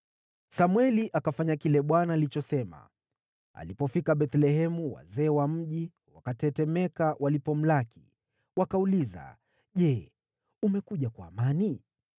Samweli akafanya kile Bwana alichosema. Alipofika Bethlehemu, wazee wa mji wakatetemeka walipomlaki. Wakauliza, “Je, umekuja kwa amani?”